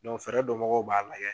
fɛɛrɛ dɔn bagaw b'a lajɛ.